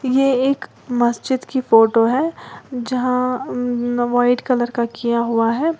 ये एक मस्जिद की फोटो है जहां व्हाइट कलर का किया हुआ है।